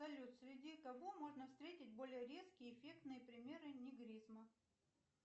салют среди кого можно встретить более резкие эффектные примеры негризма